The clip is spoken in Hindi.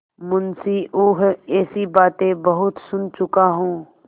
मुंशीऊँह ऐसी बातें बहुत सुन चुका हूँ